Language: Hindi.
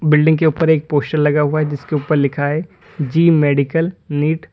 बिल्डिंग के ऊपर एक पोस्टर लगा हुआ है जिसके ऊपर लिखा है जी मेडिकल नीट ।